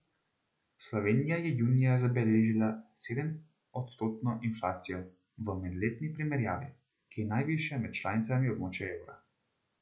Slovenija je junija zabeležila sedemodstotno inflacijo v medletni primerjavi, ki je najvišja med članicami območja evra.